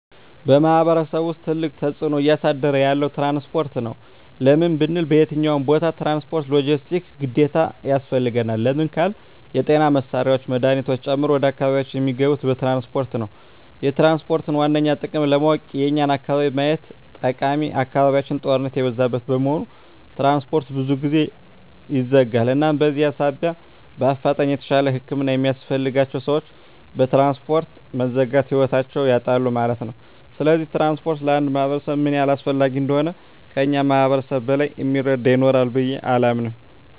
በማሕበረሰቡ ውስጥ ትልቅ ተፅዕኖ እያሳደረ ያለዉ ትራንስፖርት ነዉ። ለምን ብንል በየትኛዉም ቦታ ትራንስፖርት(ሎጀስቲክስ) ግዴታ ያስፈልጋል። ለምን ካልን የጤና መሳሪያወች መድሀኒቶችን ጨምሮ ወደ አካባቢያችን እሚገቡት በትራንስፖርት ነዉ። የትራንስፖርትን ዋነኛ ጥቅም ለማወቅ የኛን አካባቢ ማየት ጠቃሚ አካባቢያችን ጦርነት የበዛበት በመሆኑ ትራንስፖርት ብዙ ጊዜ ይዘጋል እናም በዚህ ሳቢያ በአፋጣኝ የተሻለ ህክምና የሚያስፈልጋቸዉ ሰወች በትራንስፖርት መዘጋት ህይወታቸዉን ያጣሉ ማለት ነዉ። ስለዚህ ትራንስፖርት ለአንድ ማህበረሰብ ምን ያህል አስፈላጊ እንደሆነ ከእኛ ማህበረሰብ በላይ እሚረዳ ይኖራል ብየ አላምንም።